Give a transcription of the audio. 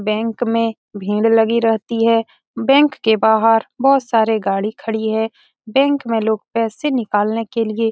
bank में भीड़ लगी रहती है बैंक के बाहर बहुत सारे गाडी खड़ी है बैंक में लोग पैसे निकलने के लिए --